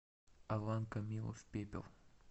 алан камилов пепел